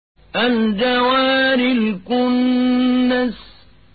الْجَوَارِ الْكُنَّسِ